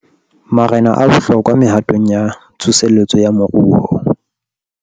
Marena a bohlokwa mehatong ya tsoseletso ya moruo